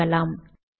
தொகுக்கலாம்